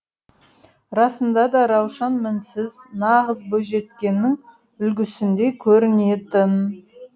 расында да раушан мінсіз нағыз бойжеткеннің үлгісіндей көрінетін